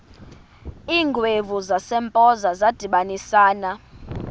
iingwevu zasempoza zadibanisana